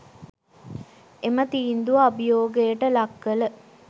එම තීන්දුව අභියෝගයට ලක් කළ